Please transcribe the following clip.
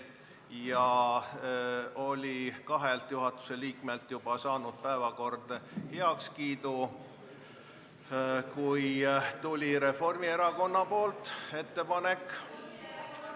Päevakord oli kahelt juhatuse liikmelt heakskiidu juba saanud, kui tuli Reformierakonna ettepanek ......